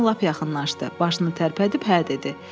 Oğlan lap yaxınlaşdı, başını tərpədib hə dedi.